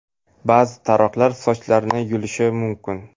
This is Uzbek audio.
Ba’zi taroqlar sochlarni yulishi mumkin.